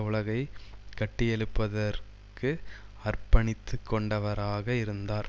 உலகைக் கட்டியெழுப்புவதற்கு அர்ப்பணித்துக்கொண்டவராக இருந்தார்